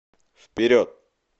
вперед